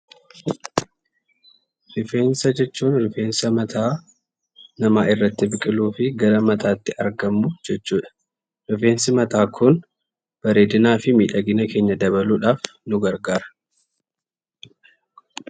Rifeensa jechuun rifeensa mata nama irratti argamuu gara mata namatti biqilbiqilluu argamuu jechuudha. Rifeensi mata kun bareedinafi midhaginnaa keenyaa dabaluuf nuu gargaraa.